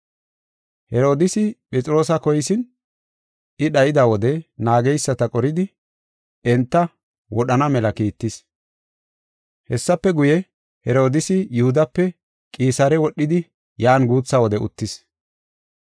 Herodiisi Phexroosa koyisin, I dhayida wode naageysata qoridi, enta wodhana mela kiittis. Hessafe guye, Herodiisi Yihudape Qisaare wodhidi yan guutha wode uttis.